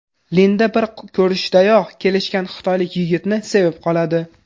Linda bir ko‘rishdayoq kelishgan xitoylik yigitni sevib qoladi.